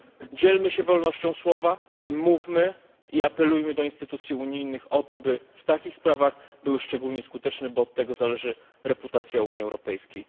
Dzielmy się wolnością słowa, mówmy i apelujmy do instytucji unijnych o to, by w takich sprawach były szczególnie skuteczne, bo od tego zależy reputacja Unii Europejskiej.